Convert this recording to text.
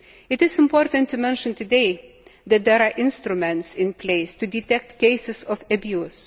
It is important to mention today that there are instruments in place to detect cases of abuse.